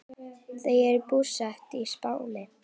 Þau eru búsett á Spáni.